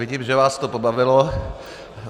Vidím, že vás to pobavilo.